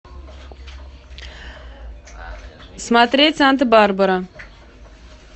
смотреть санта барбара